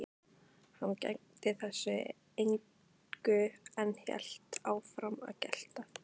Hann gegndi þessu engu en hélt áfram að gelta.